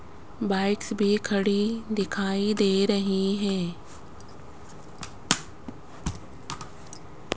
Bikes भी खड़ी दिखाई दे रही हैं।